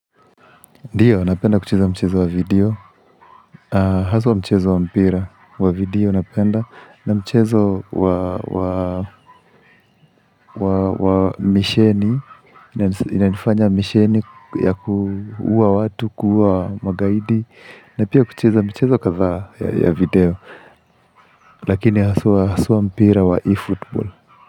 Ndiyo, napenda kucheza mchezo wa video, haswa mchezo wa mpira wa video napenda, na mchezo wa kwa misheni, inanifanya misheni ya kuua watu, kuua magaidi, na pia kucheza michezo kadhaa ya video, lakini haswa mpira wa eFootball.